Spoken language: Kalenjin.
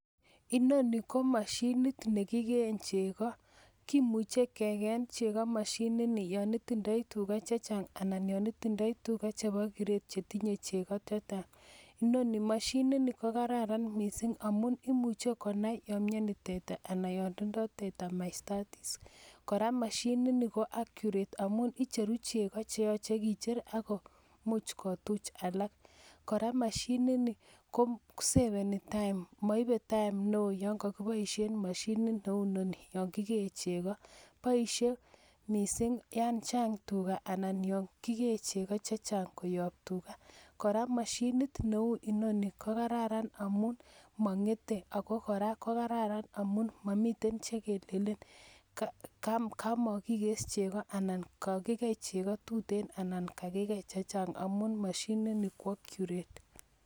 Inoni ko mashinit nekiken cheko koimuche kwken cheko niton yanitindoi tuga chechang anan yanitindoi tuga chebo kiret chetinye cheko chechang inoni machinit kokararan mising amun imuche konai ya miani teta anan yaimdoi teta mastitis koraa mashinit Ni ko accurate (amun icheru chegi cheyachen kicher akob kumuch kotuch alak koraa mashinit niton komuch korib saishek maybe time neon yangagibaishenb mashinit Neu inoni yangigen cheko baishet mising Yan Chang tuga anan Yan kikee cheko chechang koyab tuga koraa machinit Neu inoni kokararan amun mangete ako koraa kokararan amun mamiten chekelelen kamakikes cheko anan kakigei cheko tuten anan kakigei chechang amun machini Ni ko accurate